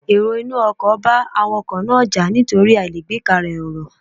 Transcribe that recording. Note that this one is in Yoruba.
Èrò inú ọkò bá Awakọ̀ náà jà nítorí àìlágbékalè ọ̀rọ̀